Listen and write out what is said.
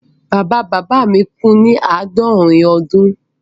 Bàbá bàbá mi kú ní ọmọ àádọ́rin ọdún.